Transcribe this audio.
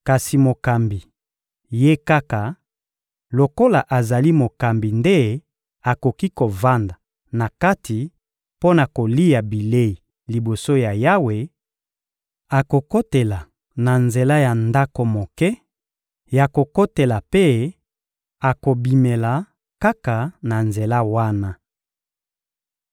Kasi mokambi, ye kaka, lokola azali mokambi nde akoki kovanda na kati mpo na kolia bilei liboso ya Yawe; akokotela na nzela ya ndako moke ya kokotela mpe akobimela kaka na nzela wana.»